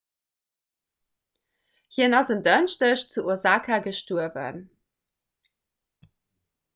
hien ass en dënschdeg zu osaka gestuerwen